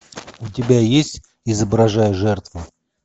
у тебя есть изображая жертву